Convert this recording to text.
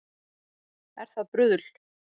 Er það bruðl